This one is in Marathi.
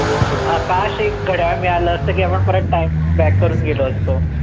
अं काश एक घड्याळ मिळालं असत की आपण परत time back करून गेलो असतो.